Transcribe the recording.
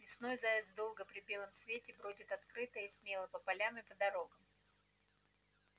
весной заяц долго и при белом свете бродит открыто и смело по полям и дорогам